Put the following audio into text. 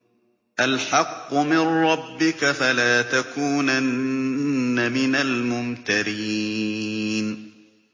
الْحَقُّ مِن رَّبِّكَ ۖ فَلَا تَكُونَنَّ مِنَ الْمُمْتَرِينَ